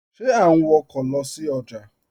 Ṣe à n wọ̀kọ̀ lọ sí ọjà?